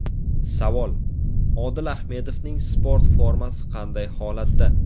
Savol: Odil Ahmedovning sport formasi qanday holatda?